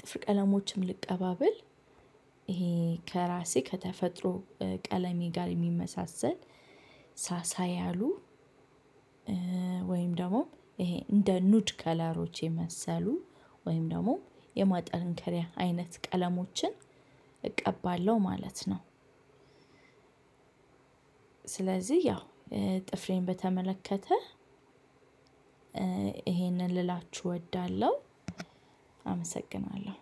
ጥፍር ቀለሞችም ልቀባ ብል ይሄ ከራሴ ከተፈጥሮ ቀለሜ ጋር የሚመሳሰል ሳሳ ያሉ ወይም ደግሞ ይሄ እንደ ኑድ ከለሮች የመሰሉ ወይም ደግሞ የማጠንከሪያ አይነት ቀለሞችን እቀባለሁ ማለት ነው። ስለዚህ ያው ጥፍሬን በተመለከተ ይሄንን ልላችሁ እወዳለሁ አመሰግናለሁ።